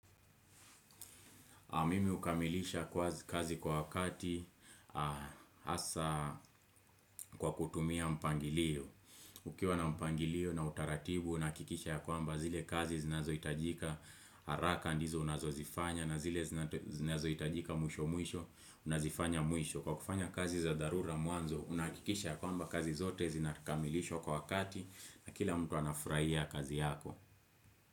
Mimi hukamilisha kazi kwa wakati hasa kwa kutumia mpangilio. Ukiwa na mpangilio na utaratibu, nahakikisha ya kwamba zile kazi zinazohitajika haraka ndizo ninazo zifanya na zile zinazo hitajika mwisho mwisho nazifanya mwisho. Kwa kufanya kazi za dharura mwanzo, unahakikisha ya kwamba kazi zote zinakamilishwa kwa wakati na kila mtu anafurahia kazi yako.